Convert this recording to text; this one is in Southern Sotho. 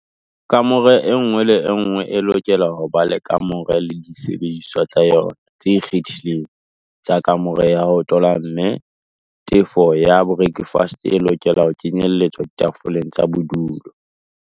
Kamore enngwe le enngwe e lokela ho ba le kamore le disebediswa tsa yona tse ikgethileng tsa kamore ya ho tola mme tefo ya borakafese e lokela ho kenyelletswa ditefong tsa bodulo.